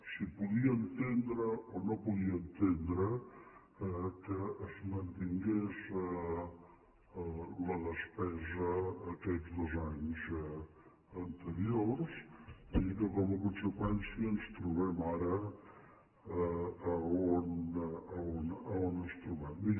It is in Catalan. si podia entendre o no podia entendre que es mantingués la despesa aquests dos anys anteriors i que com a conseqüència ens trobem ara on ens trobem